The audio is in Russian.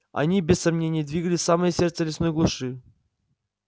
они без сомнения двигались в самое сердце лесной глуши